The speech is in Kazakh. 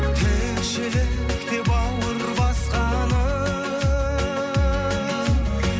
тіршілік деп бауыр басқаным